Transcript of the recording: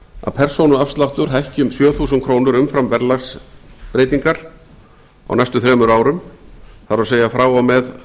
að persónuafsláttur hækki um sjö þúsund króna umfram verðlagsbreytingar á næstu þremur árum það er frá og með